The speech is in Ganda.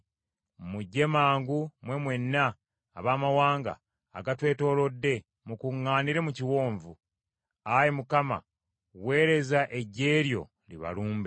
Mujje mangu mwe mwenna abamawanga agatwetoolodde, mukuŋŋaanire mu kiwonvu. Ayi Mukama , weereza eggye lyo libalumbe.